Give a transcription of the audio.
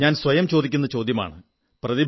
പ്രതിഭയുടെ ചോദ്യം ഞാൻ സ്വയം ചോദിക്കുന്ന ചോദ്യമാണ്